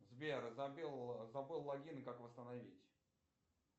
сбер забыл логин как восстановить